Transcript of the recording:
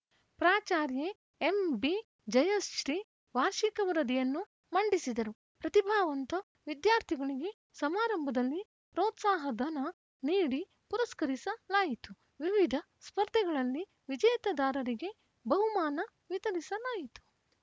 ಪ್ರಾಚಾರ್ಯೆ MB Jayashree ವಾರ್ಷಿಕ ವರದಿಯನ್ನು ಮಂಡಿಸಿದರು ಪ್ರತಿಭಾವಂತ ವಿದ್ಯಾರ್ಥಿಗಳಿಗೆ ಸಮಾರಂಭದಲ್ಲಿ ಪ್ರೋತ್ಸಾಹ ಧನ ನೀಡಿ ಪುರಸ್ಕರಿಸಲಾಯಿತು ವಿವಿಧ ಸ್ಪರ್ಧೆಗಳಲ್ಲಿ ವಿಜೇತದಾರರಿಗೆ ಬಹುಮಾನ ವಿತರಿಸಲಾಯಿತು